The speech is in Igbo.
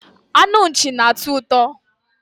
anụ Nchi na-atọ ụtọ